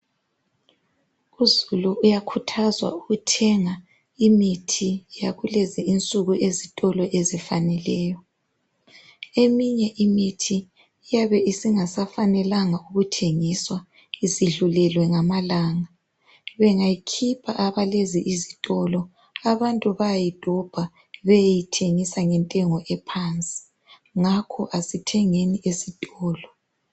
Uzulu uyakhuthwazwa ukuthenga imithi yakulezi insuku ezitolo ezifaneleyo . Eminye imithiniyabe isingasafanelanga ukuthengiswa isidlulelwe ngamalanga bengayikhipha abalezi izitolo abantu bayayidobha beyeyithengosa ngentengo ephansi ngakho asithengeni ezitolo.